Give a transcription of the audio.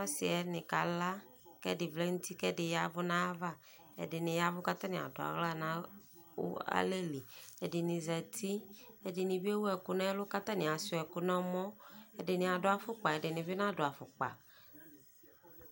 Ɔsiɛni kala ɛdi vlɛ nu uti ku ɛdi vlɛ nu ayava ɛdini yavu katani aduuɣɔ nalɛli ɛdini bi ewu ɛku nɛlu katani ashua ɛku nɛmɔ ɛdini adu afɔkpa ɛdini bi nadu afɔkpa